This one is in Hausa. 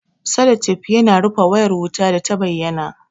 Salotef yana rufe wayar wuta data bayyana